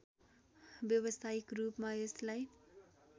व्यावसायिक रूपमा यसलाई